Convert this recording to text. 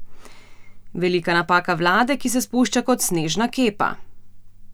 Velika napaka vlade, ki se spušča kot snežna kepa!